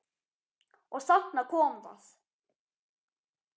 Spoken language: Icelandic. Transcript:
Og þarna kom það.